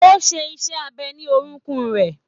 O ṣe iṣẹ abẹ ni orokun rẹ.